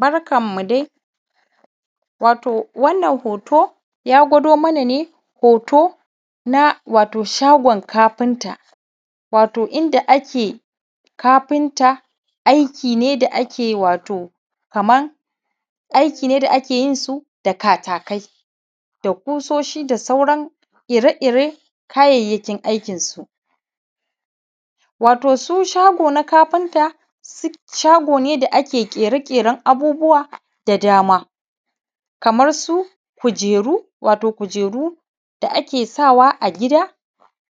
Barkanmu dai. Wato wannan hoto, ya gwado mana ne hoto na wato shagon kafinta, wato inda ake kafinta, aiki ne da ake wato kaman aiki ne da ake yin su da katakai da sauran ƙusoshi da sauran ire-ire kayayyakin aikinsu. Wato su shago na kafinta, shago ne da ake ƙere ƙeren abubuwa da dama, kamar su kujeru, wato kujeru da ake sawa a gida,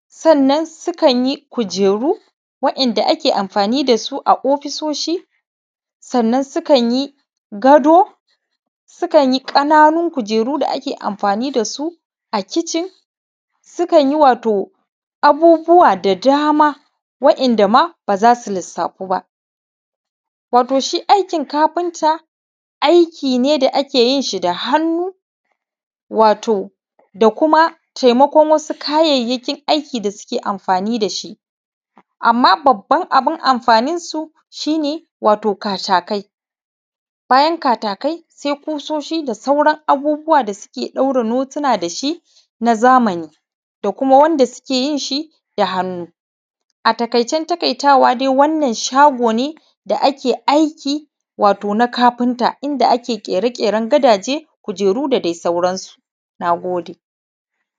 sannan sukan yi kujeru, waɗanda ake amfani da su a ofisoshi, sannan sukan yi gado, sukan yi ƙananun kujeru da ake amfani da su a kitchen, sukan yi wato abubuwa da dama waɗanda ma ba za su lissafu ba. Wato shi aikin kafinta, aiki ne da ake yin shi da hannu,, wato da kuma taimakon wasu kayayyakin aiki da suke amfani da shi. Amma babban abin amfaninsu shi ne wata katakai. Bayan katakai sai, ƙusoshi da sauran abubuwa da suke ɗaura notina da shi na zamani, da kuma wanda suke yin shi da hannu. A taƙaicen taƙaitawa dai wannan shago ne da ake aiki, wato na kafinta, inda ake ƙere ƙeren gadaje, kujeruda dai sauransu. Na gode.